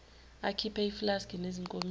akhiphe iflaski nezinkomishi